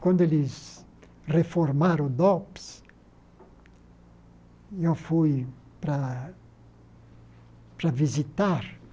Quando eles reformaram o Dops, eu fui para para visitar.